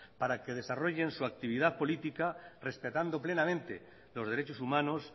para que desarrollen su actividad política respetando plenamente los derechos humanos